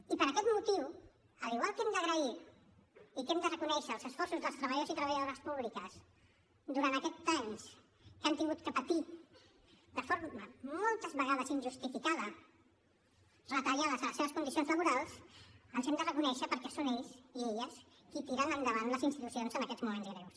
i per aquest motiu igual que hem d’agrair i que hem de reconèixer els esforços dels treballadors i treballadores públics durant aquests anys que han hagut de patir de forma moltes vegades injustificada retallades de les seves condicions laborals els hem de reconèixer perquè són ells i elles qui tiren endavant les institucions en aquests moments greus